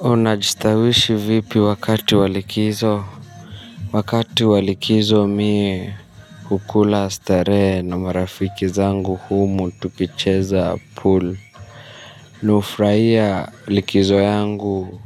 Unajistawishi vipi wakati walikizo wakati wa likizo mie hukula starehe na marafiki zangu humu tukicheza pul ni hufurahia likizo yangu